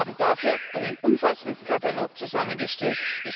Und wir haben dafür einen umfassenden Katalog zusammengestellt.